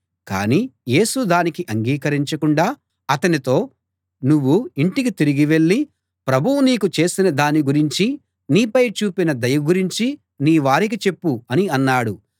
కాని యేసు దానికి అంగీకరించకుండా అతనితో నువ్వు ఇంటికి తిరిగి వెళ్ళి ప్రభువు నీకు చేసినదాని గురించీ నీపై చూపిన దయ గురించీ నీ వారికి చెప్పు అని అన్నాడు